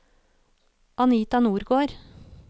Anita Nordgård